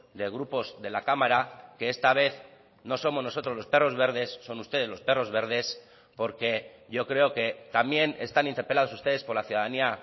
de grupos de la cámara que esta vez no somos nosotros los perros verdes son ustedes los perros verdes porque yo creo que también están interpelados ustedes por la ciudadanía